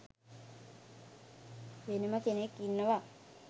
වෙනම කෙනෙක් ඉන්නව.